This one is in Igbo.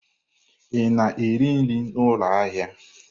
Ị na-eri nri n'ụlọ ahịa?